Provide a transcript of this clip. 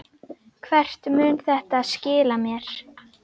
Hvert mun þetta skila mér?